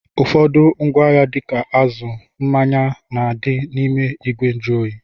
Ụfọdụ ngwaahịa dịka azụ, mmanya na-adị n'ime ìgwè njụoyi